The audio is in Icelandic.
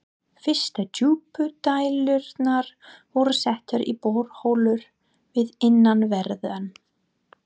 Fyrstu djúpdælurnar voru settar í borholur við innanverðan